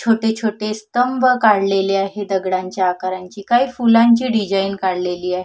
छोटे छोटे स्तंभ काढलेले आहे दगडाच्या आकारांची काही फुलांच्या डिझाईन काढलेली आहे.